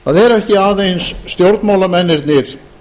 það eru ekki aðeins stjórnmálamennirnir